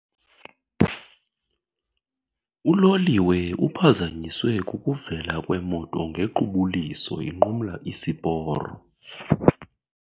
Uloliwe uphazanyiswe kukuvela kwemoto ngequbuliso inqumla isiporo.